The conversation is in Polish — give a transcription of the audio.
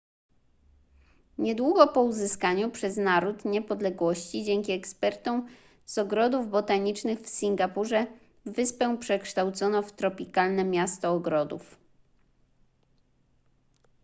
niedługo po uzyskaniu przez naród niepodległości dzięki ekspertom z ogrodów botanicznych w singapurze wyspę przekształcono w tropikalne miasto ogrodów